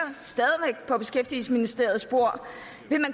på beskæftigelsesministerens bord